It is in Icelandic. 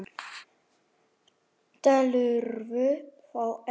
Telurðu þá ekki?